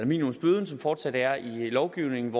minimumsbøde som fortsat er i lovgivningen